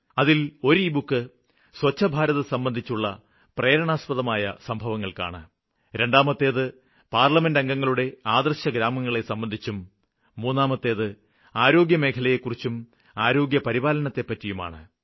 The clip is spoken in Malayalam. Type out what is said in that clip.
അതില് ഒരു ലബുക്ക് സ്വച്ഛ് ഭാരത് സംബന്ധിച്ചുള്ള പ്രേരണാസ്പദമായ സംഭവങ്ങള്ക്കാണ് രണ്ടാമത്തേത് പാര്ലമെന്റ് അംഗങ്ങളുടെ ആദര്ശഗ്രാമങ്ങളെ സംബന്ധിച്ചും മൂന്നാമത്തേത് ആരോഗ്യമേഖലയെക്കുറിച്ചും ആരോഗ്യപരിപാലനത്തെപ്പറ്റിയുമാണ്